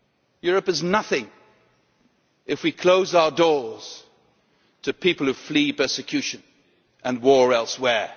Europe is nothing if we close our doors to people who flee persecution and war elsewhere.